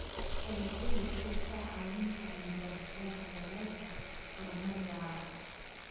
Dalagyadu waxay kaa caawin karaan gaaritaanka yoolalka horumar waara.